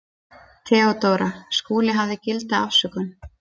THEODÓRA: Skúli hafði gilda afsökun.